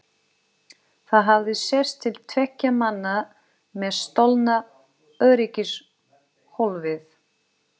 Það hafði sést til tveggja manna með stolna öryggishólfið!